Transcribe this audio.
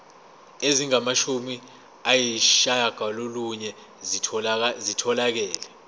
ezingamashumi ayishiyagalolunye zitholakele